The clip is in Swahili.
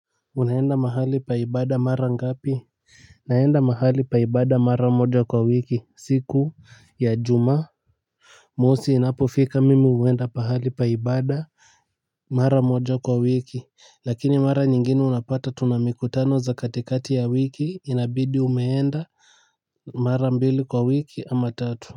Unaenda mahali pa ibada mara ngapi naenda mahali pa ibada mara moja kwa wiki siku ya ijumaa. Mosi inapofika mimi huenda mahali pa ibada. Mara moja kwa wiki. Lakini mara nyingine unapata tuna mikutano za katikati ya wiki inabidi umeenda. Mara mbili kwa wiki ama tatu.